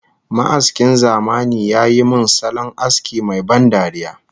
Ma'askin zamani ya yi min salon aski mai ban dariya